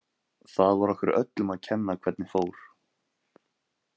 Það var okkur öllum að kenna hvernig fór.